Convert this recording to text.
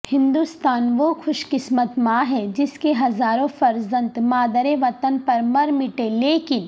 ہندوستان وہ خوش قسمت ماں ہے جس کے ہزاروں فرزند مادر وطن پر مرمٹے لیکن